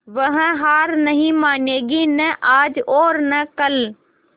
वह हार नहीं मानेगी न आज और न कल